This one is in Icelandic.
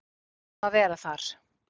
Hvað er um að vera þar?